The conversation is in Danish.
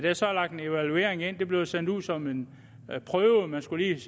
er så lagt en evaluering ind den bliver sendt ud som en prøve man skulle